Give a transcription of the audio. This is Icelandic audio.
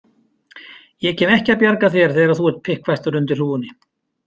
Ég kem ekki að bjarga þér þegar þú ert pikkfastur undir hrúgunni